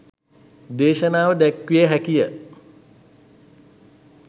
දේශනාව දැක්විය හැකිය.